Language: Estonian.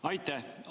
Aitäh!